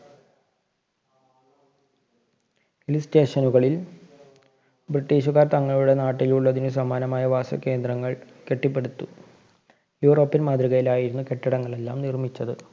Hill station കളില്‍ ബ്രിട്ടീഷുകാര്‍ തങ്ങളുടെ നാട്ടില്‍ ഉള്ളതിനു സമാനമായ വാസകേന്ദ്രങ്ങള്‍ കെട്ടിപ്പടുത്തു. യുറോപ്യന്‍ മാതൃകയിലായിരുന്നു കെട്ടിടങ്ങളെല്ലാം നിര്‍മ്മിച്ചത്.